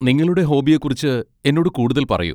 നിങ്ങളുടെ ഹോബിയെക്കുറിച്ച് എന്നോട് കൂടുതൽ പറയൂ.